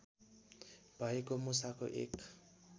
भएको मुसाको एक